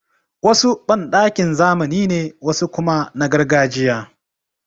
Wasu banɗakin zamani ne, wasu kuma na gargajiya.